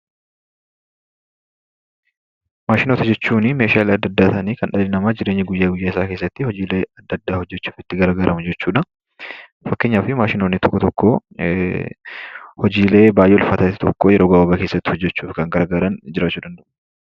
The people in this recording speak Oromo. Maashinoota jechuun meeshaalee adda addaa ta'anii kan dhalli namaa jireenya guyyaa guyyaa isaa keessatti hojiilee adda addaa hojjechuuf itti gargaaramu jechuudha. Fakkeenyaaf maashinoonni tokko tokko hojiilee baay'ee ulfaatu tokko yeroo gabaabaa keessatti hojjechuu yookaan gargaaran jirachuu danda'u.